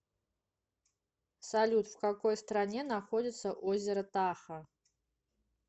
салют в какой стране находится озеро тахо